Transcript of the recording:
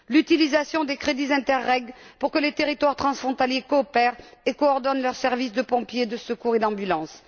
l'utilisation des crédits Interreg, pour que les territoires transfrontaliers coopèrent et coordonnent leurs services de pompiers, de secours et d'ambulances.